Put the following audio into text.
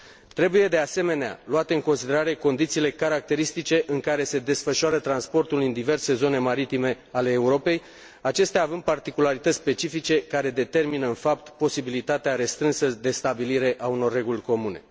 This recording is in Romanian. Trebuie, de asemenea, luate în considerare condițiile caracteristice în care se desfășoară transportul în diverse zone maritime ale Europei, acestea având particularități specifice care determină în fapt posibilitatea restrânsă de stabilire a unor reguli comune.